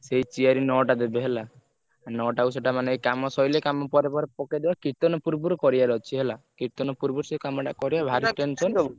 ସେଇ chair ନଅଟା ଦେବେ ହେଲା ନଅଟା କୁ ସେଇଟା ମାନେ କାମ ସଇଲେ କାମ ପରେ ପରେ ପକେଇଦେବେ କୀର୍ତ୍ତନ ପୂର୍ବରୁ କରିଆର ଅଛି ହେଲା,